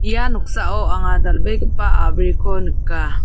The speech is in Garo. ia noksao anga dal·begipa a·briko nika.